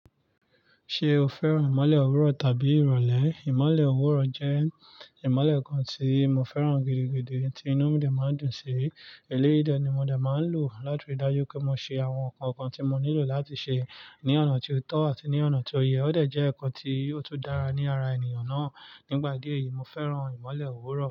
Ṣé o fẹ́ràn ìmọ̀le ọ̀wọ̀rọ̀ tàbí ìrọ̀lẹ́? Ìmọ̀le ọ̀wọ̀rọ̀ jẹ́ ìmọ̀le kan tí mo fẹ́ràn gidigidi tí inú mi dà máa ń dùn sí. Èlé yìí ni mo dà máa ń lò láti ri dájú pé mo ṣe àwọn nǹkan kan tí mo nílò láti ṣe ní ọ̀nà tí ó tọ́ àti ní ọ̀nà tí ó yẹ. Ó dà jẹ́ ǹkan tí ó tó dára ní ara ènìyàn náà. Nígbà díẹ̀ yìí, mo fẹ́ràn ìmọ̀le ọ̀wọ̀rọ̀.